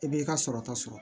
I b'i ka sɔrɔ ta sɔrɔ